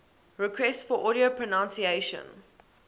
requests for audio pronunciation